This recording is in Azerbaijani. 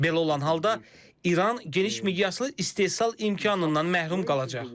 Belə olan halda İran geniş miqyaslı istehsal imkanından məhrum qalacaq.